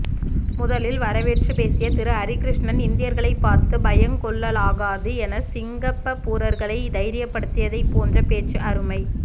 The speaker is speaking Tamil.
முதலில் வரவேற்றுப்பேசிய திரு ஹரிகிருஷ்ணன் இந்தியர்களைப் பார்த்து பயங்கொள்ளலாகாது என சிங்கப்பபூரர்களை தைரியப்படுத்தியது போன்ற பேச்சு அருமை